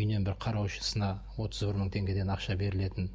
үйінен бір қараушысына отыз бір мың теңгеден ақша берілетін